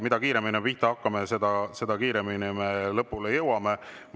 Mida kiiremini me pihta hakkame, seda kiiremini me lõpule jõuame.